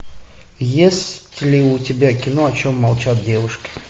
есть ли у тебя кино о чем молчат девушки